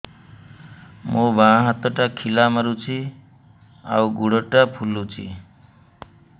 ମୋ ବାଆଁ ହାତଟା ଖିଲା ମାରୁଚି ଆଉ ଗୁଡ଼ ଟା ଫୁଲୁଚି